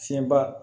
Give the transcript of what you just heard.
Fiɲɛba